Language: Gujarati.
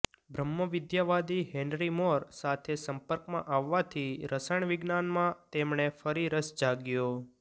બ્રહ્મ વિદ્યાવાદી હેનરી મોર સાથે સંપર્કમાં આવવાથી રસાયણવિજ્ઞાનમાં તેમને ફરી રસ જાગ્યો